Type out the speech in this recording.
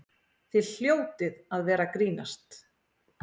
Þið hljótið að vera að grínast!